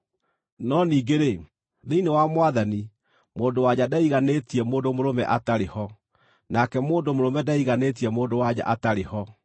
No ningĩ-rĩ, thĩinĩ wa Mwathani, mũndũ-wa-nja ndeiganĩtie mũndũ mũrũme atarĩ ho, nake mũndũ-mũrũme ndeiganĩtie mũndũ-wa-nja atarĩ ho.